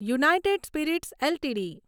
United Spirits LTD